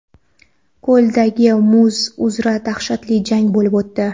Ko‘ldagi muz uzra dahshatli jang bo‘lib o‘tdi.